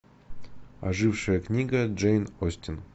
ожившая книга джейн остин